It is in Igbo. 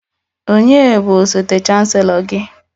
Ònye bụ osote chancelo gị?